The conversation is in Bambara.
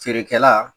Feerekɛla